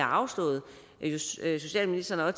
afslået socialministeren har